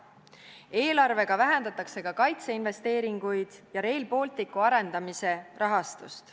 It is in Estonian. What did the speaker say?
Eelarvega vähendatakse ka kaitseinvesteeringuid ja Rail Balticu arendamise rahastust.